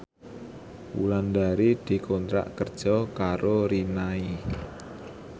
Wulandari dikontrak kerja karo Rinnai